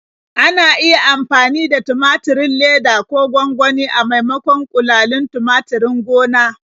Ana iya amfani da tumaturin leda ko gwangwani a maimakon ƙulalin tumaturin gona.